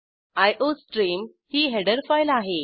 iostream ही header file आहे